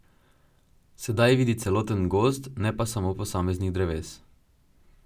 Sedaj vidi celoten gozd, ne pa samo posameznih dreves.